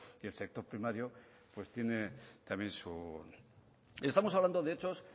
y el sector primario pues tiene su estamos hablando de hechos